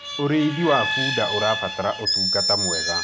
ũrĩithi wa bunda ũrabatara utungata mwega